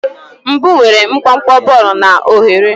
Ubu nwere nkwonkwo bọọlụ na oghere.